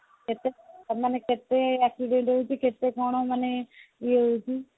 ତମେ ମାନେ କେତେ accident ହେଇଛି କେତେ କଣ ମାନେ ଇଏ ହେଇଛି